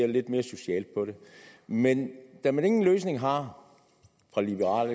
lidt mere socialt på det men da man ingen løsning har fra liberal